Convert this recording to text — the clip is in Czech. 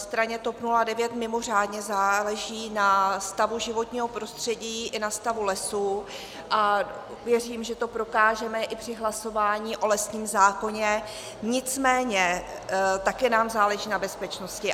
Straně TOP 09 mimořádně záleží na stavu životního prostředí i na stavu lesů a věřím, že to prokážeme i při hlasování o lesním zákoně, nicméně taky nám záleží na bezpečnosti.